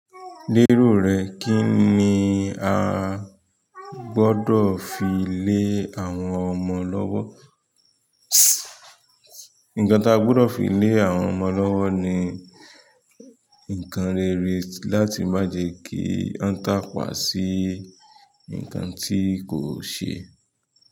Lérò rẹ, kí ni a gbọ́dọ̀ fi lé àwọn ọmọ lọ́wọ́. Nǹkan tí a gbọ́dọ̀ fi lé àwọn ọmọ lọ́wọ́ ni nkan rere láti má jẹ kí wọ́n tàpá sí ǹkan tí kò ṣe.